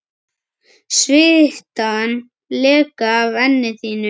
Svitann leka af enni þínu.